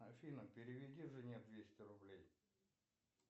афина переведи жене двести рублей